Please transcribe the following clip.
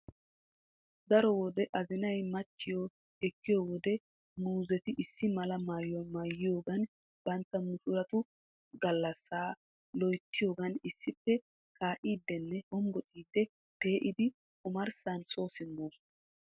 Daro wode azinay machchiyo ekkiyo wode muuzeti issi mala maayuwa maayiyoogan bantta mushuratu gallassa loyittiyoogan issippe kaa'iiddinne hombociiddi pe'idi omarssan so simmoosona.